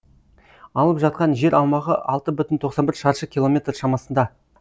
алып жатқан жер аумағы алты бүтін тоқсан бір шаршы километр шамасында